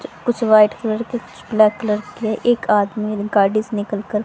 कुछ white colour के कुछ ब्लैक कलर के एक आदमी गाड़ी से निकलकर--